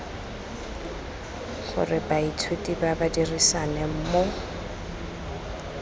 gore baithuti ba dirisane mo